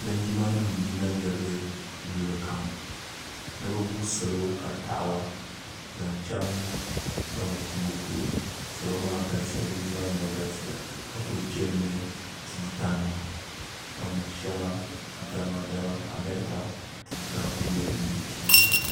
linjima nim n yina yɛrigi luɣulu kam ni bi gu salo ka taɣaba zaŋ chɛŋ gamo tuma polo salo maa galisiya linjima nim maa galisiya ka ku chɛni ni tiŋ shɛŋa tuuta nima dama amɛrika tuuta n ku nyɛ din bɛ tuuli na